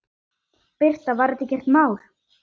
Birta: Var þetta ekkert mál?